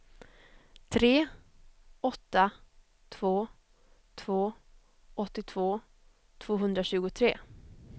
tre åtta två två åttiotvå tvåhundratjugotre